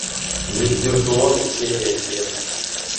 виртуозы серия семь